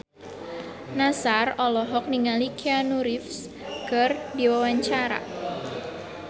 Nassar olohok ningali Keanu Reeves keur diwawancara